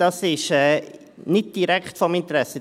Das ist nicht direkt von Interesse.